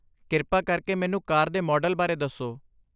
ਕਿਰਪਾ ਕਰਕੇ ਮੈਨੂੰ ਕਾਰ ਦੇ ਮਾਡਲ ਬਾਰੇ ਦੱਸੋ।